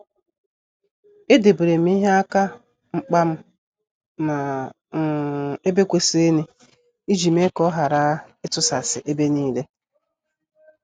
E deberem ihe aka mkpam n' um ebe kwesịrịnụ, iji mee ka ọ ghara itusasi ebe niile.